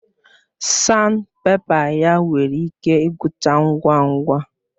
Sanpèpa ya nwere ike igwucha ngwa ngwa